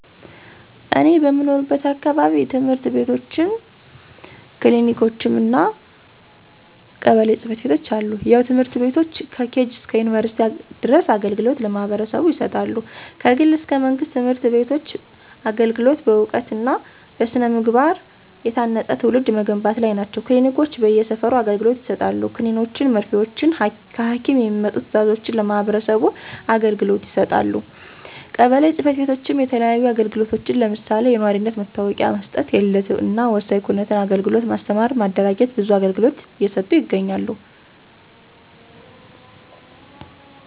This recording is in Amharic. እኔ በምኖርበት አካባቢ፦ ትምህርት ቤትችም፣ ክሊኒኮችም እና ቀበሌ ጽ/ቤቶች አሉ። ያው ትምህርት ቤቶች ከኬጅ እስከ ዩንቨርስቲ ድረስ አገልግሎት ለማህበረሰቡ ይሰጣሉ። ከግል እስከ መንግስት ትምህርት ቤቶች አገልግሎት በእውቀት እና በስነ-ምግባ የታነፀ ትውልድ መገንባት ላይ ናቸው። ክሊኒኮች በየ ሰፈሩ አገልግሎት ይሰጣሉ። ከኒኖችን መርፊወችን ከሀኪም የሚመጡ ትዛዞችን ለማህበረሰቡ አገልግሎት ይሰጣሉ። ቀበሌ ፅ/ቤቶችም የተለያዩ አግልግሎቶችን ለምሳሌ፦ የኗሪነት መታወቂያ መስጠት፣ የልደት እናወሳኝ ኩነት አግልግሎት፣ ማስተማር ማደራጀት ብዙ አገልግሎት እየሰጡ ይገኛሉ።